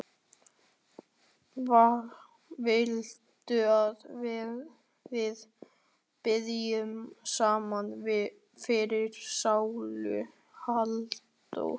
Viltu að við biðjum saman fyrir sálu Halldóru?